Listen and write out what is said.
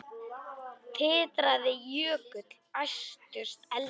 Titraði jökull, æstust eldar